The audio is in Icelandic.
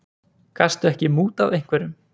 Gastu ekki mútað einhverjum?